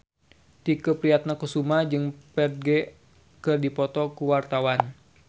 Tike Priatnakusuma jeung Ferdge keur dipoto ku wartawan